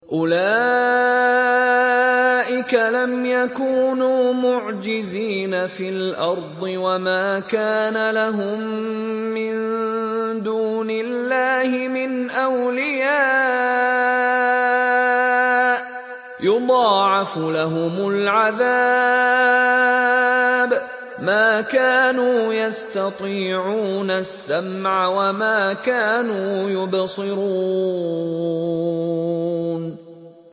أُولَٰئِكَ لَمْ يَكُونُوا مُعْجِزِينَ فِي الْأَرْضِ وَمَا كَانَ لَهُم مِّن دُونِ اللَّهِ مِنْ أَوْلِيَاءَ ۘ يُضَاعَفُ لَهُمُ الْعَذَابُ ۚ مَا كَانُوا يَسْتَطِيعُونَ السَّمْعَ وَمَا كَانُوا يُبْصِرُونَ